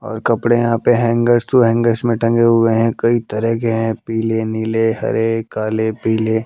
और कपड़े यहां पे हैंगर्स टू हैंगर्स में टंगे हुए हैं कई तरह के हैं पीले नीले हरे काले पीले--